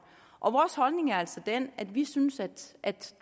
og vores holdning er altså den at vi synes at